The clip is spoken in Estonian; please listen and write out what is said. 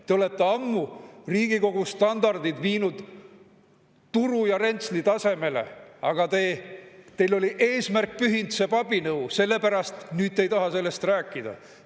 Te olete ammu Riigikogu standardid viinud turu ja rentsli tasemele, aga teil oli "eesmärk pühitseb abinõu", selle pärast ei taha te nüüd sellest rääkida.